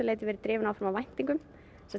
drifin áfram af væntingum